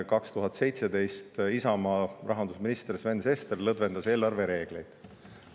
2017. aastal Isamaa rahandusminister Sven Sester lõdvendas eelarvereegleid.